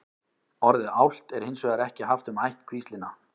orðið álft er hins vegar ekki haft um ættkvíslina